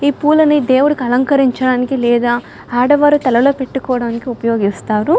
ఈ పూల నీ దేవుడికి అలంకరించడానికి లేదా ఆడవారు తలలో పెట్టుకోవడానికి ఉపయోగిస్తారు